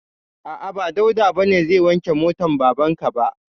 A'a, ba Dauda ba ne zai wanke motan baban ka ba.